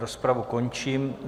Rozpravu končím.